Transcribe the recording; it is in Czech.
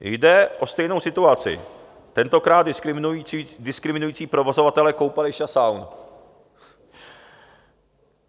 Jde o stejnou situaci, tentokrát diskriminující provozovatele koupališť a saun.